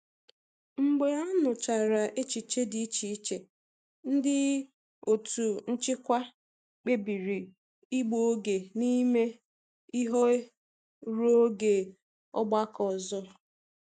Mgbe a nụchara echiche dị iche iche, ndị otu nchịkwa kpebiri ịgbu oge n'ime ihe ruo oge ọgbakọ ọzọ.